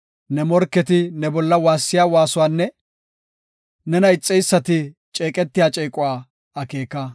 Ne morketi ne bolla waassiya waasuwanne nena ixeysati ceeqetiya ceequwa akeeka.